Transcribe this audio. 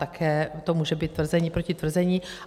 Také to může být tvrzení proti tvrzení.